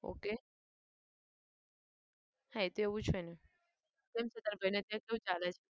ok હા એ તો એવું જ હોય ને. કેમ છે તારા ભાઈને ત્યાં કેવું ચાલે છે?